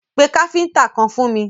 Pé káfíntà kan fún mi!